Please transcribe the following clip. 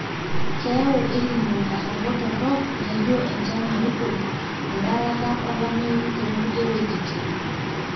keyau El nino nkatampo torok naijo enchan naruko, edarata oolameyu too nkulie wuejitin